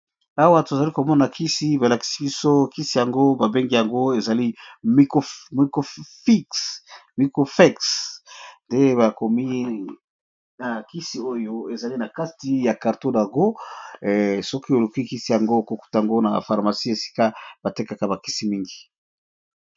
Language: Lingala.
Awa tozali komona kisi babengi yango MUCOFEEX eza nakati ya carton na yango okokuta yango na pharmacie.